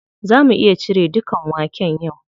Za mu iya cire dukan waken yau?